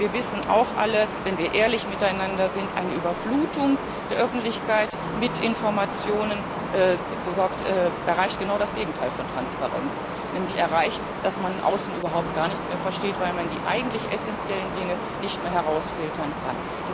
geben? Denn wir wissen auch alle, wenn wir ehrlich miteinander sind, eine Überflutung der Öffentlichkeit mit Informationen erreicht genau das Gegenteil von Transparenz, nämlich dass man außen gar nichts mehr versteht, weil man die eigentlich essenziellen Dinge nicht mehr herausfiltern